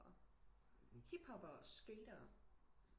Hiphopper og skatere